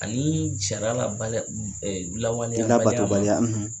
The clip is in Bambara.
Ani jara labada lawale labatobaliya.